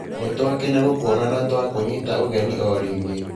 Nĩtwakena gũkũona na twakũnyita ũgeni o ringi.